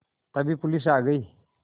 तभी पुलिस आ गई